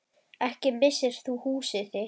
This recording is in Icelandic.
Ekki missir þú húsið þitt.